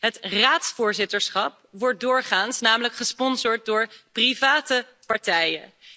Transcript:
Het Raadsvoorzitterschap wordt doorgaans namelijk gesponsord door private partijen.